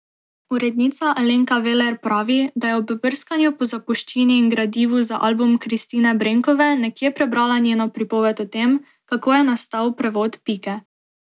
Urednica Alenka Veler pravi, da je ob brskanju po zapuščini in gradivu za album Kristine Brenkove nekje prebrala njeno pripoved o tem, kako je nastal prevod Pike.